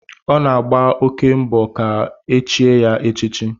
Ọ na-agba oké mbọ ka e chie ya echichi